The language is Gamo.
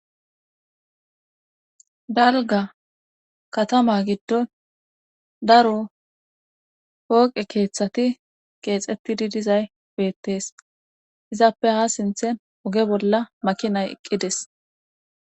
dalga katama giddon daro pooqe keettati keexettidi dizay beetes izappe haa sintten oge bolla makinay eqqidides.